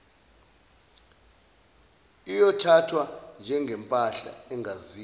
iyothathwa njengempahla engaziwa